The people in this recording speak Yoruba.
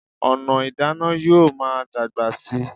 Ọ̀nà ìdáná yóò máa dàgbà síi